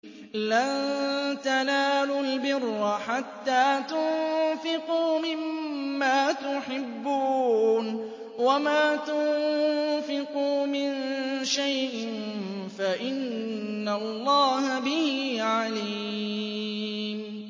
لَن تَنَالُوا الْبِرَّ حَتَّىٰ تُنفِقُوا مِمَّا تُحِبُّونَ ۚ وَمَا تُنفِقُوا مِن شَيْءٍ فَإِنَّ اللَّهَ بِهِ عَلِيمٌ